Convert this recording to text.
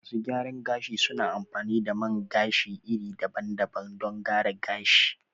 Masu gyaran gashi su na amfani da man gashi iri daban daban don gyara gashi